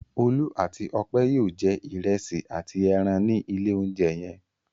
Olú àti Ọpẹ́ yóò jẹ ìrẹsì àti ẹran ní ilé-oúnjẹ yẹn.